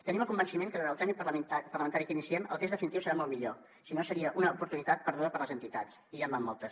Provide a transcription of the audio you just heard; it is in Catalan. tenim el convenciment que en el tràmit parlamentari que iniciem el text definitiu serà molt millor si no seria una oportunitat perduda per a les entitats i ja en van moltes